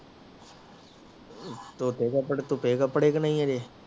ਧੋਤੇ ਕਪੜੇ ਥੁਪੈ ਕਪੜੇ ਵੀ ਨਹੀਂ ਏਹਦੇ